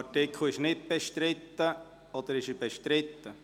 Artikel 66 ist nicht bestritten, oder doch?